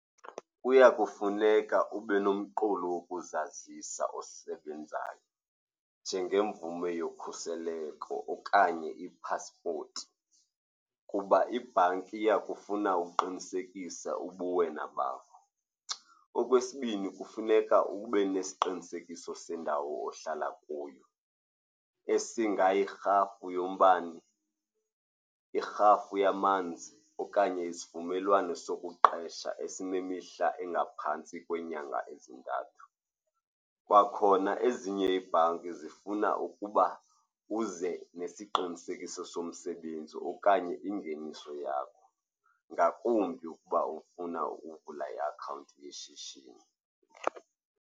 Kuya kufuneka ube nomqulu wokuzazisa osebenzayo, njengemvume yokhuseleko okanye ipasipoti, kuba ibhanki iyakufuna ukuqinisekisa ubuwena bakho. Okwesibini, kufuneka ube nesiqinisekiso sendawo ohlala kuyo, esingayirhafu yombane, irhafu yamanzi okanye isivumelwano sokuqesha esinemihla engaphantsi kweenyanga ezintathu. Kwakhona ezinye iibhanki zifuna ukuba uze nesiqinisekiso somsebenzi okanye ingeniso yakho, ngakumbi ukuba ufuna ukuvula iakhawunti yeshishini.